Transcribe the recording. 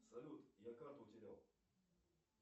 салют я карту утерял